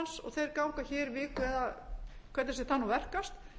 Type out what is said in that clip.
þeir ganga hér viku eða hvernig sem það nú verkast